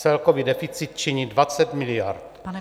Celkový deficit činí 20 miliard.